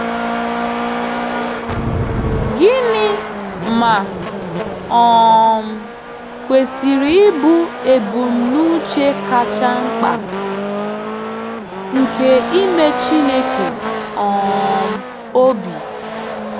Gịnị̀, ma, um kwesịrị ịbụ ebumnuche kacha mkpa nke ime Chineke um obi?